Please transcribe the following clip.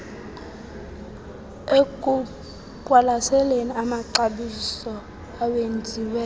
ekuqwalaseleni amaxabiso awenziwe